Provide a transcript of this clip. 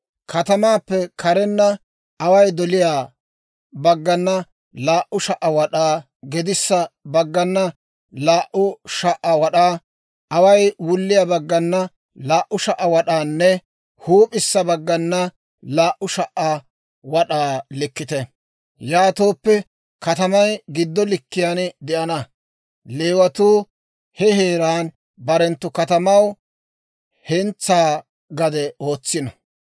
Katamaappe karenna, away doliyaa baggana laa"u sha"a wad'aa, gedissa baggana laa"u sha"a wad'aa, away wulliyaa baggana laa"u sha"a wad'aanne huup'issa baggana laa"u sha"a wad'aa likkite; yaatooppe katamay giddo likkiyaan de'ana. Leewatuu he heeraa barenttu katamaw hentsaa gade ootsino.